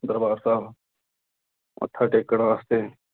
ਦਰਬਾਰ ਸਾਹਿਬ ਮੱਥਾ ਟੇਕਣ ਵਾਸਤੇ।